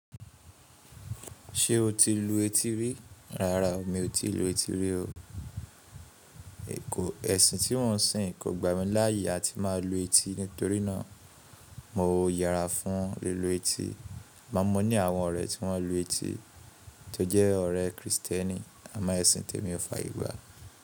Sé o ti lò etí re. Rárá o, mi ò tí lu etí rí o. Ẹ̀sìn tí wọ́n ń sìn kò gbà mí láyè tí máa lu etí nítorí náà mo yára fún lílo etí. Máa mọ̀ ní àwọn ọ̀rẹ́ tí wọ́n lu etí tó jẹ́ ọ̀rẹ́ Kristẹni, àmọ́ ẹ̀sìn tèmi ò fààyè gbà.